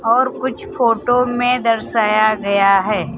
और कुछ फोटो में दर्शाया गया है।